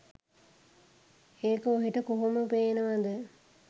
ඒක ඔහෙට කොහොම පේනවද